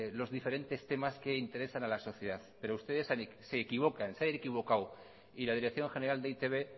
los diferentes temas que interesan a la sociedad pero ustedes se equivocan se han equivocado y la dirección general de e i te be